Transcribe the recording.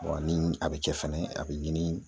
ni a bɛ kɛ fɛnɛ a bɛ ɲini